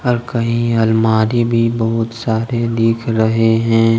और कहीं अलमारी भी बहुत सारे दिख रहे हैं।